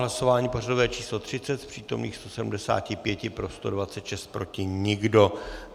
Hlasování pořadové číslo 30, z přítomných 175 pro 126, proti nikdo.